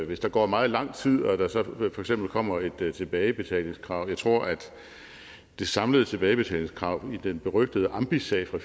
hvis der går meget lang tid og der så for eksempel kommer et tilbagebetalingskrav jeg tror at det samlede tilbagebetalingskrav i den berygtede ambisag fra